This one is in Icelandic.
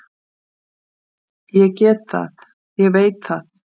Ég get það, ég veit það.